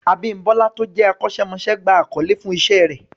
Abímbọ́lá tó jẹ́ akọ́ṣẹ́mọṣẹ́ gba àkọlé fún Iṣẹ́ rẹ̀